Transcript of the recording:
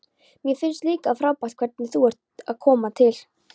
Mér finnst líka frábært hvernig þú ert að koma til.